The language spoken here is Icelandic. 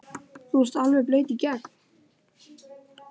þú ert alveg blaut í gegn!